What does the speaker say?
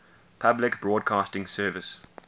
public broadcasting service